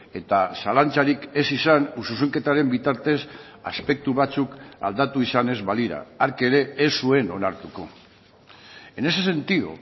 eta zalantzarik ez izan zuzenketaren bitartez aspektu batzuk aldatu izan ez balira hark ere ez zuen onartuko en ese sentido